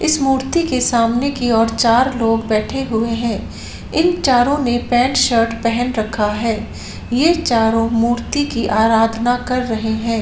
इस मूर्ति के सामने की और चार लोग बैठे हुए है इन चारों ने पैन्ट शर्ट पहन रखा है ये चारों मूर्ति की आराधना कर रहे है।